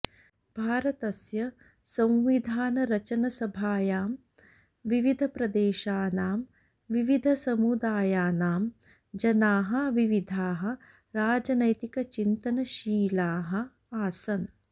भारतस्य संविधानरचनसभायां विविधप्रदेशानां विविधसमुदायानां जनाः विविधाः राजनैतिकचिन्तनशीलाः आसन्